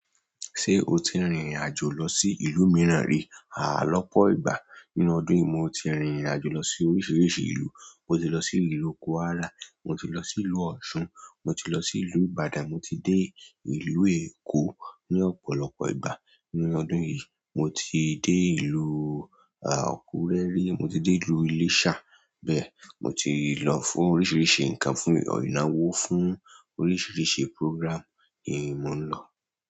Ṣé o ti rìnrìn àjò lọ sí ìlú mìíràn rí? Lọ́pọ̀ ìgbà nínú ọdún yìí, mo ti rìnrìn-àjò lọ sí oríṣìíríṣìí ìlú. Mo ti lọ sí ìlú Kwara, mo ti lọ sílùú Osun, mo ti lọ sí ìlú Ìbàdàn, mo ti dé ìlú Èkó ní ọ̀pọ̀lọpọ̀ ìgbà nínú ọdún yìí. Mo ti dé ìlú Akure rí, mo ti délùú Iléṣà, bẹ́ẹ̀. Mo ti lọ fún oríṣìíríṣìí nǹkan- fún ìnáwó, fún oríṣìíríṣìí programme, ni mò ń lọ.